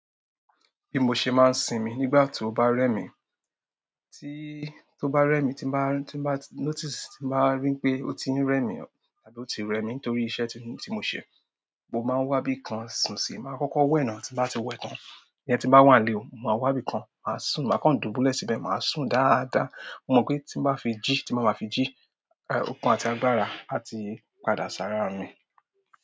Bi mo ṣe máa ń sinmi nígbà tí ó bá rẹ mi, tí, tó bá rẹ mi, tí bá, tí n bá notice, tí n bá rí pé ó ti ń rẹ mi àbí ó ti rẹ mi nítorí iṣẹ́ tí mo ṣe, mo máa ń wá bíkan sùn sí i. Máa kọ́kọ́ wẹ̀ náà, tí bá ti wẹ́ tán, ìyẹn tí n bá wà nlé ò, ma wá bíkan, màá sùn, màá kán dùbúlẹ̀ síbẹ̀, màá sùn dáadáa. Mo mọ pé tí mo bá fi jí, tí mo bá máa fi jí, ọ̀kun àti agbára á ti padà sára mi.